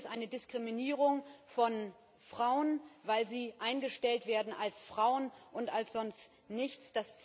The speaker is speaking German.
Das Ziel ist eine Diskriminierung von Frauen, weil sie eingestellt werden als Frauen und als sonst nichts.